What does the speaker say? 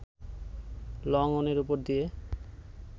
লংঅনের ওপর দিয়ে